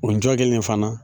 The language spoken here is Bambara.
O jɔ kelen in fana